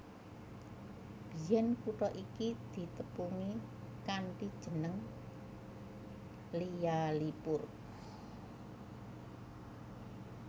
Biyèn kutha iki ditepungi kanthi jeneng Lyallpur